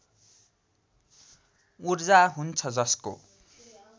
ऊर्जा हुन्छ जसको